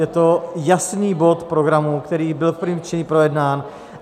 Je to jasný bod programu, který byl v prvním čtení projednán.